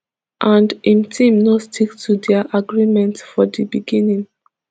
and im team no stick to dia agreement for di beginning